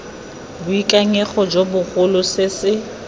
boikanyego jo bogolo se se